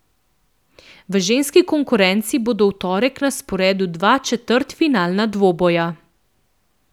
V ženski konkurenci bodo v torek na sporedu dva četrtfinalna dvoboja.